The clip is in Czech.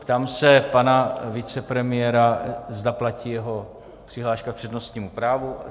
Ptám se pana vicepremiéra, zda platí jeho přihláška k přednostnímu právu.